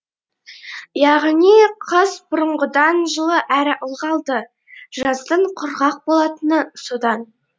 яғни қыс бұрынғыдан жылы әрі ылғалды жаздың құрғақ болатыны содан